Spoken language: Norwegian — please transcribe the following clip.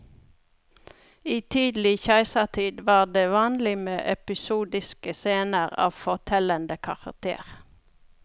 I tidlig keisertid var det vanlig med episodiske scener av fortellende karakter.